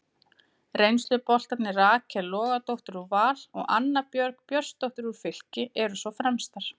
Reynsluboltarnir Rakel Logadóttir úr Val og Anna Björg Björnsdóttir úr Fylki eru svo fremstar.